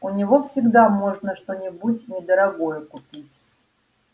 у него всегда можно что-нибудь недорогое купить